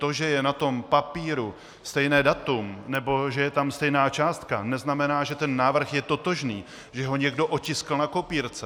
To, že je na tom papíru stejné datum nebo že je tam stejná částka, neznamená, že ten návrh je totožný, že ho někdo otiskl na kopírce.